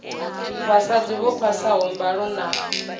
vhasadzi vho phasaho mbalo na